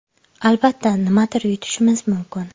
Albatta, nimadir yutishimiz mumkin.